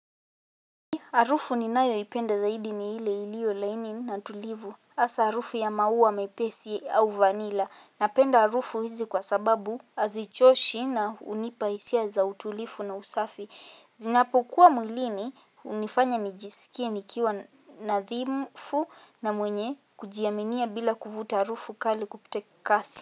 Harufu ninayoipenda zaidi ni ile iliyo laini na tulivu hasa harufu ya maua mepesi au vanila napenda harufu hizi kwa sababu hazichoshi na hunipa hisia za utulifu na usafi zinapokuwa mwilini hunifanya nijisikie nikiwa nadhifu na mwenye kujiaminia bila kuvuta harufu kali kupita kasi.